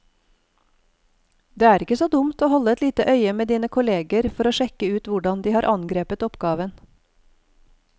Det er ikke så dumt å holde et lite øye med dine kolleger for å sjekke ut hvordan de har angrepet oppgaven.